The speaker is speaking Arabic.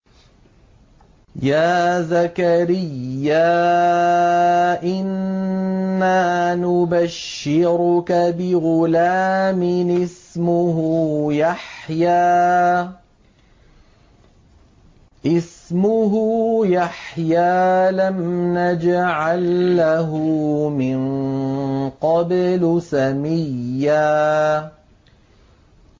يَا زَكَرِيَّا إِنَّا نُبَشِّرُكَ بِغُلَامٍ اسْمُهُ يَحْيَىٰ لَمْ نَجْعَل لَّهُ مِن قَبْلُ سَمِيًّا